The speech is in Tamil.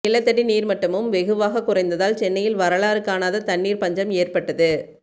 நிலத்தடி நீர்மட்டமும் வெகுவாக குறைந்ததால் சென்னையில் வரலாறு காணாத தண்ணீர் பஞ்சம் ஏற்பட்டது